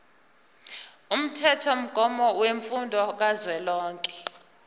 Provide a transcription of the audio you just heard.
umthethomgomo wemfundo kazwelonke